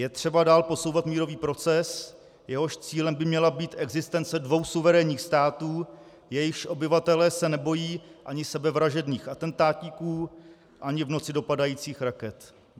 Je třeba dál posouvat mírový proces, jehož cílem by měla být existence dvou suverénních států, jejichž obyvatelé se nebojí ani sebevražedných atentátníků ani v noci dopadajících raket.